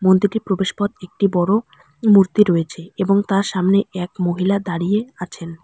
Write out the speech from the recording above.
মন্দিরটির প্রবেশ পথ একটি বড় মূর্তি রয়েছে এবং তার এক মহিলা দাঁড়িয়ে আছেন।